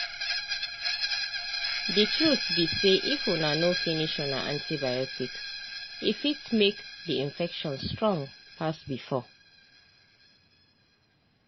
the truth be sayif una no finish una antibioticse fit make the infection strong pass before.